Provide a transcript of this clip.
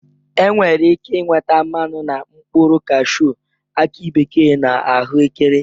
E nwere ike inweta mmanụ na mkpụrụ kashuu, aki bekee na ahụekere